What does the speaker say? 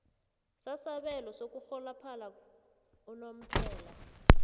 sasabelo sokurholophala unomphela